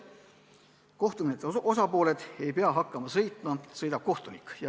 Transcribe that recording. Kohtumenetluse osapooled ei pea hakkama sõitma, sõidab kohtunik.